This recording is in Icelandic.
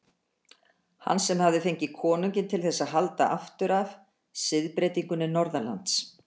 Hann sem hafði fengið konunginn til þess að halda aftur af siðbreytingunni norðanlands.